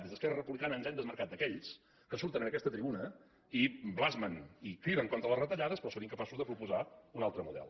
des d’esquerra republicana ens hem desmarcat d’aquells que surten en aquesta tribuna i blasmen i criden contra les retallades però que són incapaços de proposar un altre model